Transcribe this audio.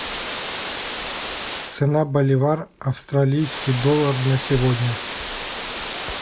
цена боливар австралийский доллар на сегодня